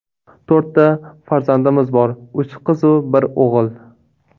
To‘rtta farzandimiz bor: uch qiz-u bir o‘g‘il.